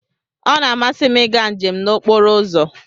Ọ na-amasị m ịga njem n'okporo ụzọ.